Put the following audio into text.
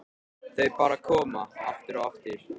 Þau bara koma, aftur og aftur.